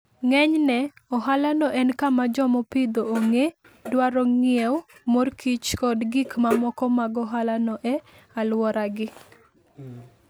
Ng'enyne, ohalano en kama joma opidho ong'e dwaro ng'iewo mor kich kod gik mamoko mag ohalano e alworagi.